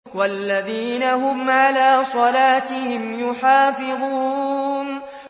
وَالَّذِينَ هُمْ عَلَىٰ صَلَاتِهِمْ يُحَافِظُونَ